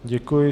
Děkuji.